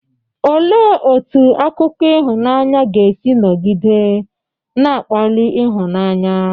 Olee otú akụkọ ịhụnanya ga-esi nọgide na-akpali ịhụnanya?